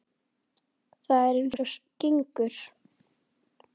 Það er eins og gengur.